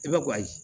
I bɛ gaa